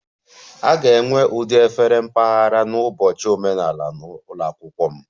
A ga-enwe ụdị efere mpaghara n'ụbọchị omenala ụlọ akwụkwọ m